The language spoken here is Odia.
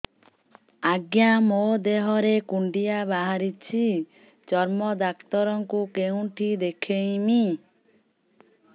ଆଜ୍ଞା ମୋ ଦେହ ରେ କୁଣ୍ଡିଆ ବାହାରିଛି ଚର୍ମ ଡାକ୍ତର ଙ୍କୁ କେଉଁଠି ଦେଖେଇମି